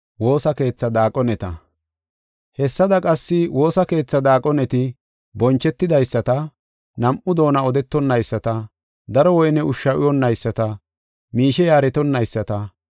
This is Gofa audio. Hessada qassi woosa keethaa daaqoneti bonchetidaysata, nam7u doona odetonayisata, daro woyne ushshu uyonayisata, miishe yaaretonayisata,